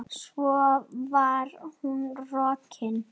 Svo var hún rokin.